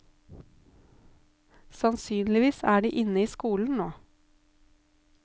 Sannsynligvis er de inne i skolen nå.